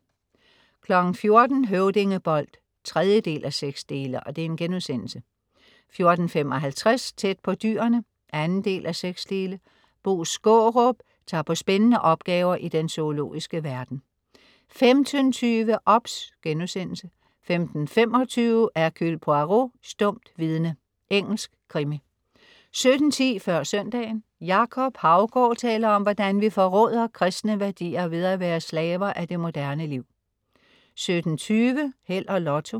14.00 Høvdingebold 3:6* 14.55 Tæt på Dyrene 2:6. Bo Skaarup tager på spændende opgaver i den zoologiske verden 15.20 OBS* 15.25 Hercule Poirot: Stumt vidne. Engelsk krimi 17.10 Før søndagen. Jacob Haugaard taler om, hvordan vi forråder kristne værdier ved at være slaver af det moderne liv 17.20 Held og Lotto